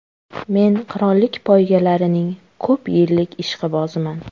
Men qirollik poygalarining ko‘p yillik ishqiboziman.